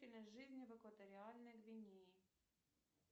жизни в экваториальной гвинее